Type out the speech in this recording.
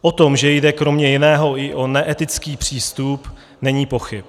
O tom, že jde kromě jiného i o neetický přístup, není pochyb.